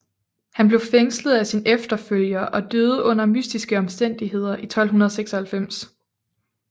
Han blev fængslet af sin efterfølger og døde under mystiske omstændigheder i 1296